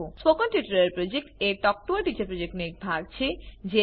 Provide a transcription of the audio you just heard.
spoken tutorial project talk to a teacher પ્રોજેક્ટનો એક ભાગ છે